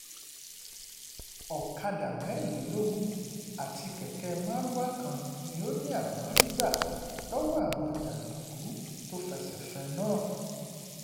ọ̀kadà mẹ́rìnlélógún àti kẹ̀kẹ́ mardukà kan ló ní àwọn rí gbà lọ́wọ́ àwọn jàǹdùkú tó fẹsẹ̀ fẹ́ ẹ náà